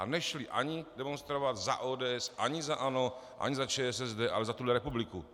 A nešli ani demonstrovat za ODS, ani za ANO, ani za ČSSD, ale za tuhle republiku.